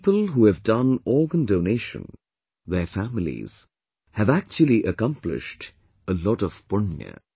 People who have done organ donation, their families, have actually accomplished a lot of Punya